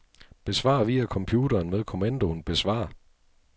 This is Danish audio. Besvar via computeren med kommandoen besvar.